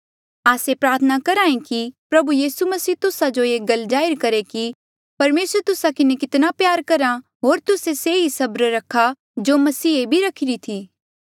आस्से प्रार्थना करहे कि प्रभु यीसू मसीह तुस्सा जो ये गल जाहिर करहे कि परमेसर तुस्सा किन्हें कितना प्यार करहा होर तुस्से से ही सबरा रखा जो मसीहे भी रखीरा था